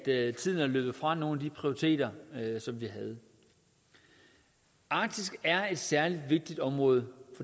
er at tiden er løbet fra nogle af de prioriteter som vi havde arktis er et særlig vigtigt område